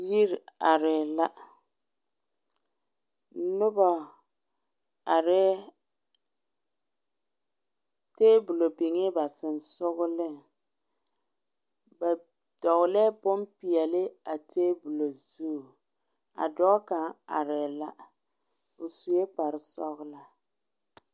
yiri are la noba areŋ ka tabolɔ biŋ ba sensɔleŋ ,ba dɔgelɛɛ bonpɛɛle a tabolɔ zu a dɔɔ kaŋa are la o sue kpare sɔglaa